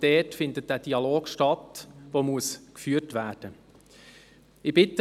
Dort findet dieser Dialog, der geführt werden muss, statt.